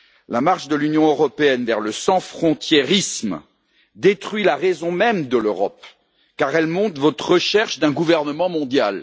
La marche de l'Union européenne vers le sans frontiérisme détruit la raison même de l'Europe, car elle montre votre recherche d'un gouvernement mondial.